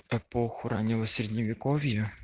эпоху раннего средневековья